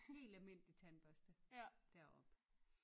Helt almindelig tandbørste deroppe